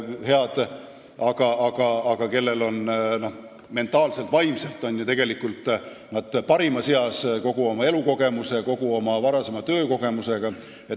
Mentaalses, vaimses mõttes on need inimesed tegelikult parimas eas kogu oma elukogemuse ja varasema töökogemusega.